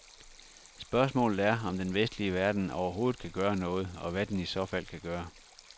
Spørgsmålet er, om den vestlige verden overhovedet kan gøre noget, og hvad den i så fald kan gøre.